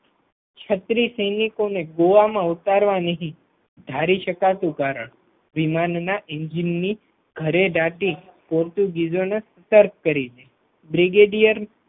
છત્રીસ સૈનિકોને ગોવામાં ઉતારવા નહીં ધારી શકાતું કારણ વિમાનના એન્જિનન ઘરેદટી પોર્ટુગીઝો ને તરકરી દીધી બ્રિગેડિયર